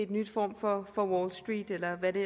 ny form for wall street eller hvad det